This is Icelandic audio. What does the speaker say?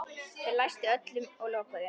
Þeir læstu öllu og lokuðu.